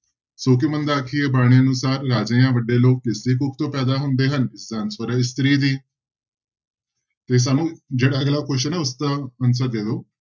ਸੌ ਕਿਉੁਂ ਮੰਦਾ ਆਖੀਐ ਬਾਣੀ ਅਨੁਸਾਰ ਰਾਜੇ ਜਾਂ ਵੱਡੇ ਲੋਕ ਕਿਸਦੀ ਕੁੱਖ ਚੋਂ ਪੈਦਾ ਹੁੰਦੇ ਹਨ ਇਸਦਾ ਹੈ ਇਸਤਰੀ ਦੀ ਤੇ ਸਾਨੂੰ ਜਿਹੜਾ ਅਗਲਾ question ਹੈ ਉਸਦਾ answer ਦੇ ਦਓ,